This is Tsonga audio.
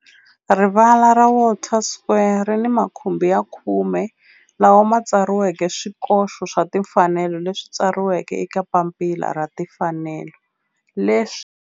Rivala ra Walter Sisulu Square ri ni makhumbi ya khume lawa ma tsariweke swikoxo swa timfanelo leswi tsariweke eka papila ra timfanelo leswi.